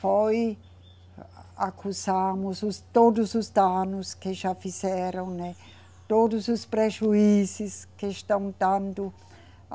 foi a, acusamos todos os danos que já fizeram, né, todos os prejuízos que estão dando.